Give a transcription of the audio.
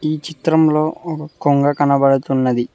ఈ చిత్రంలో ఓగ కొంగ కనపడుతున్నది.